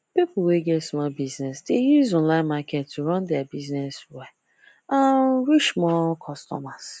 people wey get small business dey use online market to run their business well and reach more customers